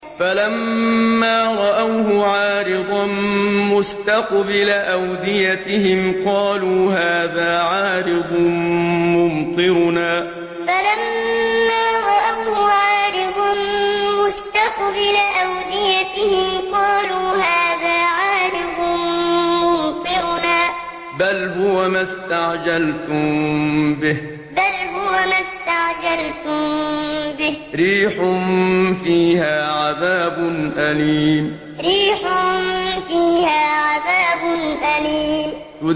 فَلَمَّا رَأَوْهُ عَارِضًا مُّسْتَقْبِلَ أَوْدِيَتِهِمْ قَالُوا هَٰذَا عَارِضٌ مُّمْطِرُنَا ۚ بَلْ هُوَ مَا اسْتَعْجَلْتُم بِهِ ۖ رِيحٌ فِيهَا عَذَابٌ أَلِيمٌ فَلَمَّا رَأَوْهُ عَارِضًا مُّسْتَقْبِلَ أَوْدِيَتِهِمْ قَالُوا هَٰذَا عَارِضٌ مُّمْطِرُنَا ۚ بَلْ هُوَ مَا اسْتَعْجَلْتُم بِهِ ۖ رِيحٌ فِيهَا عَذَابٌ أَلِيمٌ